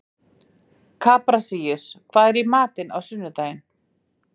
Kaprasíus, hvað er í matinn á sunnudaginn?